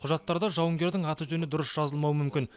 құжаттарда жауынгердің аты жөні дұрыс жазылмауы мүмкін